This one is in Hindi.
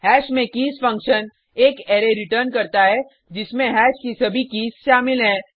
हैश में कीज़ फंक्शन एक अरै रिटर्न करता है जिसमें हैश की सभी कीज़ शामिल हैं